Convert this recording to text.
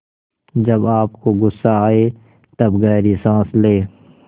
जब आपको गुस्सा आए तब गहरी सांस लें